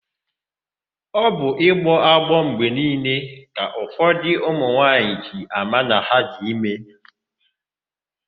Ọ bụ ịgbọ agbọ mgbe niile ka ụfọdụ ụmụnwaanyị ji ama na ha dị ime.